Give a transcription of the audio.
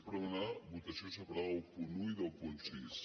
és per demanar votació separada del punt un i del punt sis